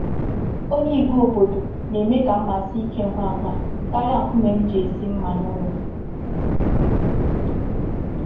Onye igwe obodo na-eme ka mma sie ike ngwa ngwa karịa nkume m ji esi mma n'ụlọ.